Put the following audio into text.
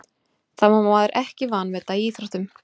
Það má maður ekki vanmeta í íþróttum.